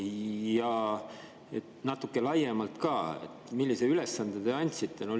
Ja natuke laiemalt ka: millise ülesande te andsite?